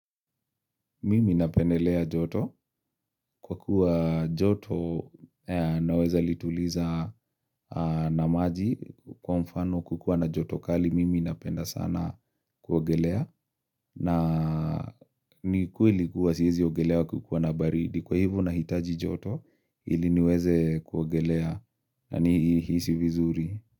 Mimi napendelea joto kwa kuwa joto naweza lituliza na maji kwa mfano kukiwa na joto kali mimi napenda sana kuogelea na ni kweli kuwa siwezi ogelea kukiwa na baridi kwa hivo nahitaji joto ili niweze kuogelea na nihisi vizuri.